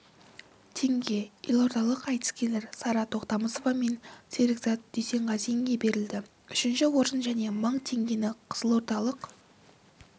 теңге елордалық айтыскерлер сара тоқтамысова мен серікзат дүйсенғазинге берілді үшінші орын және мың теңгені қызылордалық